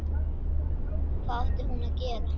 Hvað átti hún að gera?